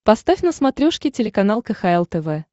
поставь на смотрешке телеканал кхл тв